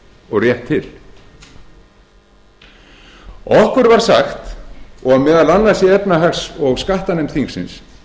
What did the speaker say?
og rétt til okkur var sagt og meðal annars í efnahags og skattanefnd þingsins